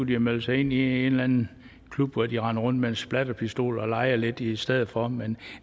de melde sig ind i en eller anden klub hvor de render rundt med en splatterpistol og leger lidt i stedet for men